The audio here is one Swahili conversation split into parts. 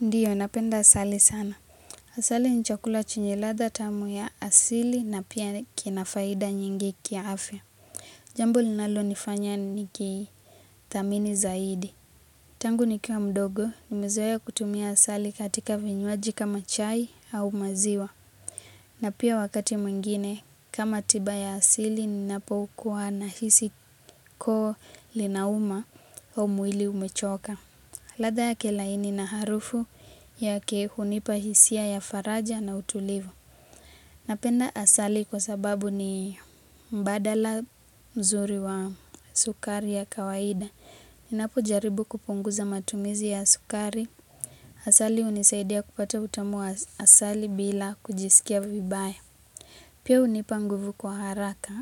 Ndiyo, napenda asali sana. Asali ni chakula chenye ladha tamu ya asili na pia kina faida nyingi kiafya. Jambo linalonifanya nikithamini zaidi. Tangu nikiwa mdogo, nimezoea kutumia asali katika vinywaji kama chai au maziwa. Na pia wakati mwingine, kama tiba ya asili, ninapokuwa nahisi koo linauma au mwili umechoka. Ladha yake laini na harufu yake hunipa hisia ya faraja na utulivu. Napenda asali kwa sababu ni mbadala mzuri wa sukari ya kawaida. Ninapo jaribu kupunguza matumizi ya sukari. Asali hunisaidia kupata utamu wa asali bila kujiskia vibaya. Pia unipa nguvu kwa haraka.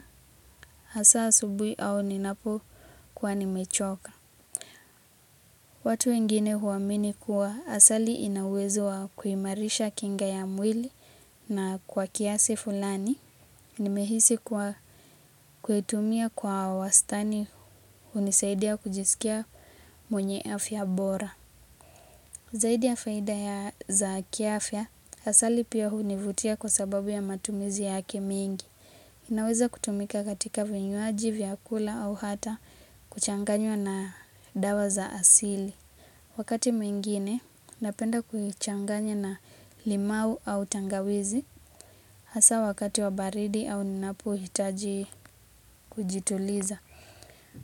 Hasa asubuhi au ninapo kuwa nimechoka. Watu wengine huamini kuwa asali ina uwezo wa kuimarisha kinga ya mwili na kwa kiasi fulani. Nimehisi kwa kuitumia kwa wastani hunisaidia kujisikia mwenye afya bora. Zaidi ya faida ya za kiafya, asali pia hunivutia kwa sababu ya matumizi yake mingi. Inaweza kutumika katika vinywaji, vyakula au hata kuchanganywa na dawa za asili. Wakati mwingine, napenda kuichanganya na limau au tangawizi, hasa wakati wa baridi au ninapo hitaji kujituliza.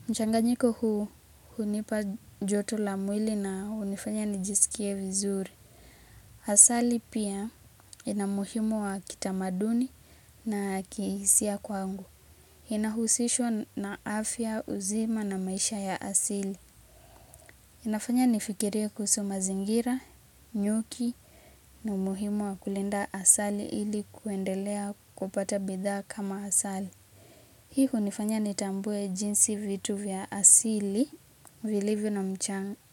Mchanganyiko huu hinipa joto la mwili na hunifanya nijisikie vizuri. Asali pia ina umuhimu wa kitamaduni na kihisia kwangu. Inahusishwa na afya, uzima na maisha ya asili. Inafanya nifikirie kuhusu mazingira, nyuki, na umuhimu wa kulinda asali ili kuendelea kupata bidhaa kama asali. Hii hunifanya nitambue jinsi vitu vya asili, vilivyo na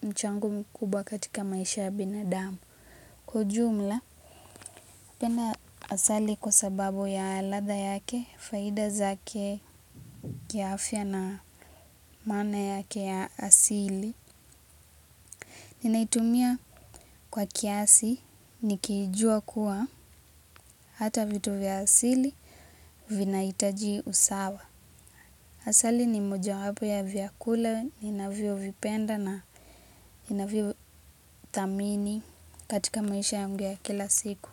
mchango mkubwa katika maisha ya binadamu. Kwa ujumla, penda asali kwa sababu ya ladha yake, faida zake kiafya na maana yake ya asili. Ninaitumia kwa kiasi, nikijua kuwa, hata vitu vya asili, vinahitaji usawa. Asali ni mojawapo ya vyakula ninavyo vipenda na ninavyo thamini katika maisha yangu ya kila siku.